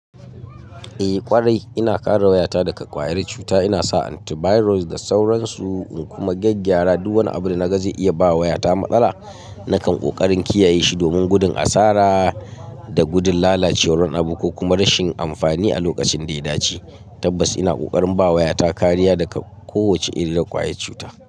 Eh ƙwarai, ina kare wayata daga ƙwayar cuta. Ina sa antivirus da sauransu, in kuma gyaggyara duk wani abu da na ga zai iya ba wayata matsala. Nakan ƙoƙarin kiyaye shi domin gudun asara da gudun lalacewar wani abu ko kuma rashin amfani a lokacin da ya dace. Tabbas, ina ƙoƙarin ba wayata kariya daga kowace irin ƙwayar cuta.